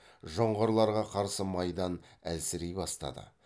жоңғарларға қарсы майдан әлсірей бастады